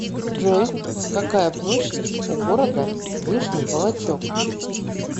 джой какая площадь у города вышний волочек